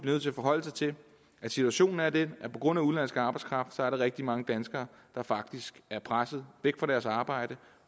nødt til at forholde sig til at situationen er den at på grund af udenlandsk arbejdskraft er der rigtig mange danskere der faktisk er presset væk fra deres arbejde